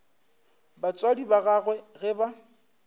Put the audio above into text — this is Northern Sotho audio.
batswadi ba gagwe ge ba